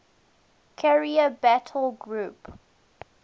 carrier battle group